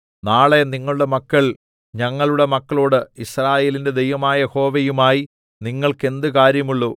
നാളെ നിങ്ങളുടെ മക്കൾ ഞങ്ങളുടെ മക്കളോട് യിസ്രായേലിന്റെ ദൈവമായ യഹോവയുമായി നിങ്ങൾക്ക് എന്ത് കാര്യമുള്ളൂ